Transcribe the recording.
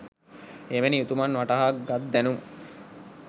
එවැනි උතුමන් වටහා ගත් දැනුම